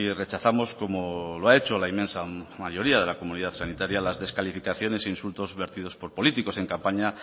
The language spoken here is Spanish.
rechazamos como lo ha hecho la inmensa mayoría de la comunidad sanitaria las descalificaciones e insultos vertidos por políticos en campaña